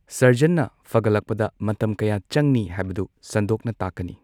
ꯁꯔꯖꯟꯅ ꯐꯒꯠꯂꯛꯄꯗ ꯃꯇꯝ ꯀꯌꯥ ꯆꯪꯅꯤ ꯍꯥꯏꯕꯗꯨ ꯁꯟꯗꯣꯛꯅ ꯇꯥꯛꯀꯅꯤ꯫